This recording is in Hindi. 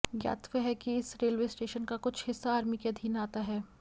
ज्ञातव्य है कि इस रेलवे स्टेशन का कुछ हिस्सा आर्मी के अधिन आता है